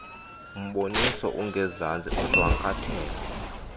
mboniso ungezantsi ushwankathela